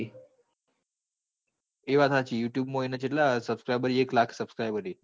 એ તો વાત હાચી youtube કેટલા subscriber એક લાખ subscriber હી